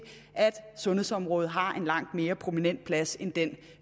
at sundhedsområdet har en langt mere prominent plads end den